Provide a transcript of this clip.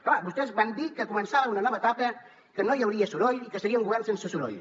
és clar vostès van dir que començava una nova etapa que no hi hauria soroll i que seria un govern sense soroll